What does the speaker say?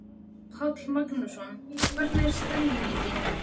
Páll Magnússon: Hvernig er stemmingin?